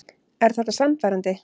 Er þetta sannfærandi?